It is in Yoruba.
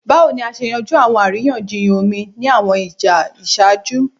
Bawo ni a ṣe yanju awọn ariyanjiyan omi ni awọn ija iṣaaju?